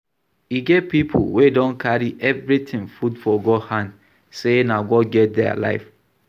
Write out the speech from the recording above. E get pipo wey don carry everything put for God hand sey na God get their life